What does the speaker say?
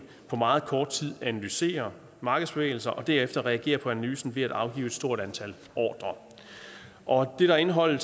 på meget kort tid analyserer markedsbevægelser og derefter reagerer på analysen ved at afgive et stort antal ordrer det der er indholdet